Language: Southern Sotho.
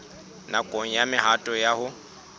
nakong ya mehato ya ho